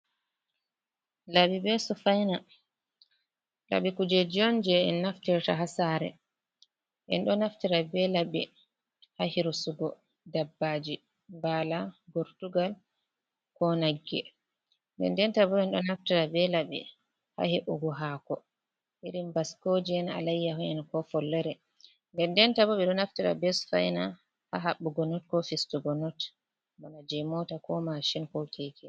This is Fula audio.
Laɓi be sufayna ,laɓi kujeji on jey en naftirta haa saare en ɗo naftira be laɓi haa hirsugo dabbaaji mbaala, gortugal ,ko nagge. Ndendenta bo en ɗo naftira be laɓi haa he''ugo haako irin baskooje'en, alayyaho’en ko follore. Ndendenta bo, ɓe ɗo naftira be sufayna haa haɓɓugo noot ko fistugo noot bana jey moota ko masin ko keke.